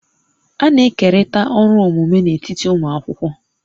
A na-ekerịta ọrụ omume n'etiti ụmụ akwụkwọ